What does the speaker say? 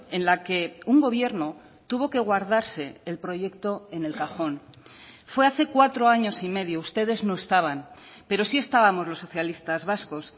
en la que un gobierno tuvo que guardarse el proyecto en el cajón fue hace cuatro años y medio ustedes no estaban pero sí estábamos los socialistas vascos